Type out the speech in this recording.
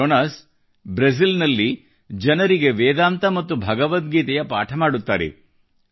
Jonas Brazil ನಲ್ಲಿ ಜನರಿಗೆ ವೇದಾಂತ ಮತ್ತು ಭಗವದ್ಗೀತೆಯ ಪಾಠ ಮಾಡುತ್ತಾರೆ